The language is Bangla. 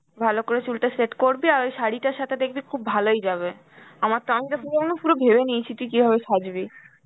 ভালো করে চুলটা set করবি আর ওই শাড়িটার সাথে দেখবি খুব ভালোই যাবে. আমার তো আমি পুরো ভেবে নিয়েছি তুই কিভাবে সাজবি.